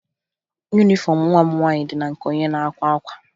Yunifọmụ nwa m nwaanyị dị na nke onye na-akwa akwa